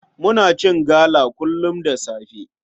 Muna cin gala kullum da safe.